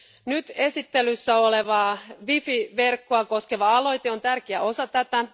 Nyt esittelyssä olevaa WiFi verkkoa koskeva aloite on tärkeä osa tätä.